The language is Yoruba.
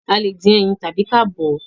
a lẹ dín ẹyin tàbi ka bọ̀ ọ́